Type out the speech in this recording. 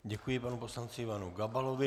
Děkuji panu poslanci Ivanu Gabalovi.